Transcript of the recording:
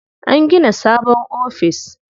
An gina sabon office.